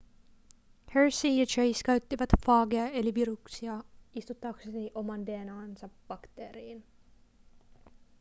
hershey ja chase käyttivät faageja eli viruksia istuttaakseen oman dna:nsa bakteeriin